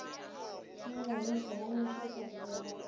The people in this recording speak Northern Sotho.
mo nyamiše ba nošetša dibjalo